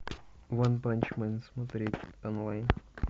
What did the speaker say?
ванпанчмен смотреть онлайн